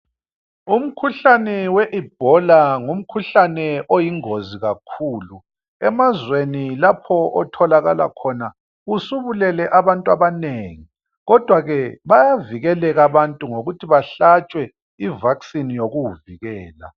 Umkhuhlane we Ebola ngumkhuhlane oyingozi kakhulu. Emazweni lapho otholakala khona usubulele abantu abanengi kodwa ke bayavikeleka abantu ngokuthi behlatshwe I vaccine yokuwuvikela.